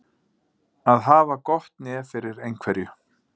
Að hafa gott nef fyrir einhverju